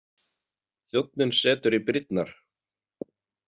Þjónninn setur í brýnnar.